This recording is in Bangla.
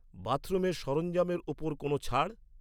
বাথরুমের সরঞ্জামেরের ওপর কোনও ছাড়?